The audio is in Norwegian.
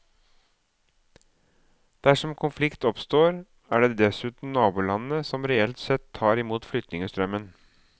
Dersom konflikt oppstår er det dessuten nabolandene som reelt sett tar imot flyktningestrømmen.